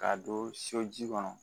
K'a don so ji kɔnɔ